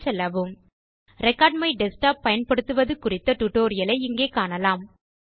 தளத்துக்குச் செல்லவும் record my desktop பயன் படுத்துவது குறித்த டியூட்டோரியல் ஐ இங்கே காணலாம்